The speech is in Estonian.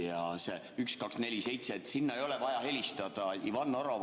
Ja see 1247, sinna ei ole vaja helistada.